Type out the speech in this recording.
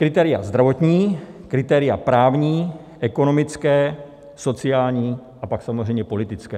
Kritéria zdravotní, kritéria právní, ekonomická, sociální a pak samozřejmě politická.